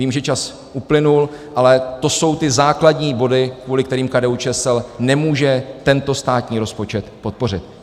Vím, že čas uplynul, ale to jsou ty zásadní body, kvůli kterým KDU-ČSL nemůže tento státní rozpočet podpořit.